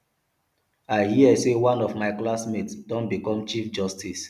i hear say one of my classmates don become chief justice